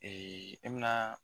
i bɛna